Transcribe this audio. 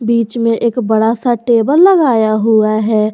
बीच में एक बड़ा सा टेबल लगाया हुआ है।